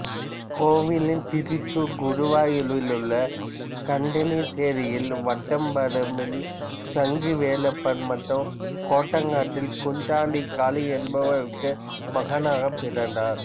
covalent Thrissur குருவாயூரில் உள்ள கந்தனிசேரியில் வட்டம்பரம்பில் சங்கு வேலப்பன் மற்றும் கோட்டக்கட்டில் குஞ்சாண்டி காளி என்பவர்களுக்கு மகனாகப் பிறந்தார்